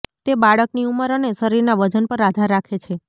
તે બાળકની ઉંમર અને શરીરના વજન પર આધાર રાખે છે